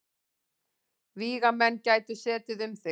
Vígamenn gætu setið um þig.